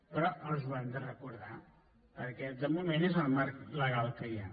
però els ho hem de recordar perquè de moment és el marc legal que hi ha